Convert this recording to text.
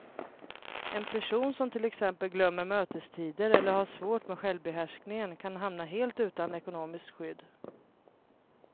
En person som till exempel glömmer mötestider eller har svårt med självbehärskningen kan hamna helt utan ekonomiskt skydd.